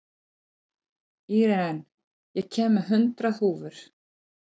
Íren, ég kom með hundrað húfur!